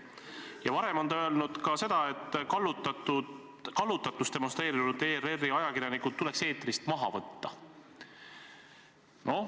Ja varem on ta öelnud ka seda, et kallutatust demonstreerinud ERR-i ajakirjanikud tuleks eetrist maha võtta.